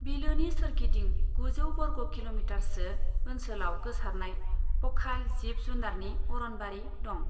बिलोनि सोरगिदिं गुजौ बर्ग किल'मिटारसो ओनसोलाव गोसारनाय पखाल जिब जुनारनि अरनबारि दं।